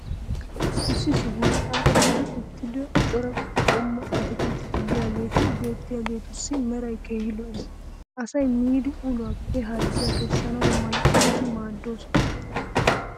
issi sohuwan xaaxetti uttida cora qommo attaakilttetti diyaageeti beetiyaageetussi meray keehi lo'ees. asay miidi ulluwaappe harggiya kessana mala eti maadoosona.